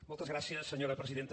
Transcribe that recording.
moltes gràcies senyora presidenta